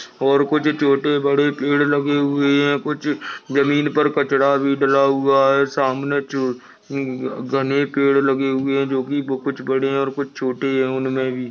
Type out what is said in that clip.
और कुछ छोटे बड़े पेड़ लगे हुए है कुछ जमीन पर कचरा भी डला हुआ है सामने जो घने पेड़ लगे हुए है जो की कुछ बड़े है और कुछ छोटे है। उनमे भी--